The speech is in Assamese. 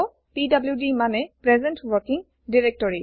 পিডিডি মানে প্ৰেজেণ্ট ৱৰ্কিং directory